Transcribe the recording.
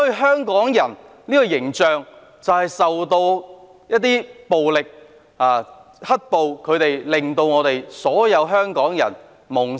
香港人的形象受到"黑暴"破壞，形象低落，令所有香港人蒙羞。